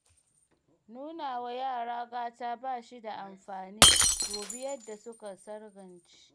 Nuna wa yara gata ba shi da amfani dubi yadda suka sangarce